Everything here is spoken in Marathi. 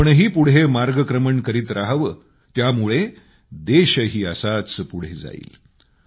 आपणही पुढे मार्गक्रमण करीत रहावं त्यामुळं देशही असाच पुढे जाईल